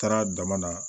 Taara dama na